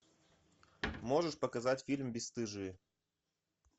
можешь показать фильм бесстыжие